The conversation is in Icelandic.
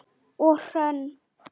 Og Hrönn?